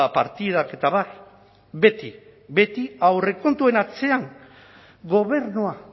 partidak eta abar beti beti aurrekontuen atzean gobernua